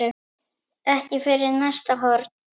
Ekki fyrir næsta horn.